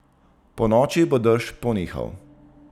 Ponoči bo dež ponehal.